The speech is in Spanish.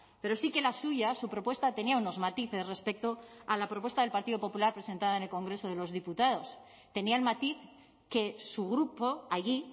pero sí que la suya su propuesta tenía unos matices respecto a la propuesta del partido popular presentada en el congreso de los diputados tenía el matiz que su grupo allí